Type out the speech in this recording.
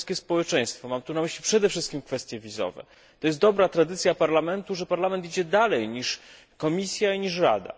jest dobra tradycja Parlamentu, że Parlament idzie dalej niż Komisja i niż Rada.